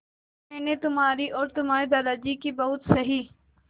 मैंने तुम्हारी और तुम्हारे दादाजी की बहुत सही